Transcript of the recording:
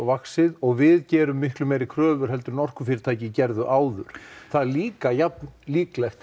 og við gerum meiri kröfur en orkufyrirtæki gerðu áður það er líka jafn líklegt